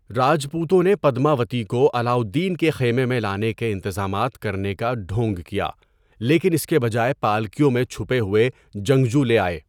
راجپوتوں نے پدماوتی کو علاؤالدین کے خیمے میں لانے کے انتظامات کرنے کا ڈھونگ کیا، لیکن اس کے بجائے پالکیوں میں چھپے ہوئے جنگجو لے آئے۔